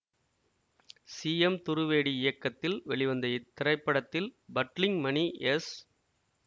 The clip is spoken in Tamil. சி எம் துருவேடி இயக்கத்தில் வெளிவந்த இத்திரைப்படத்தில் பட்லிங் மணி எஸ்